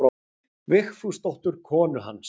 Vigfúsdóttur konu hans.